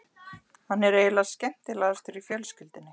Hann er eiginlega skemmtilegastur í fjölskyldunni.